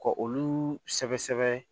Ka olu sɛbɛ sɛbɛ